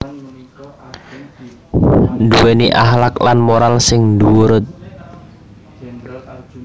Nduwèni akhlak lan moral sing dhuwurt